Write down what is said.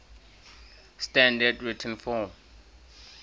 standard written form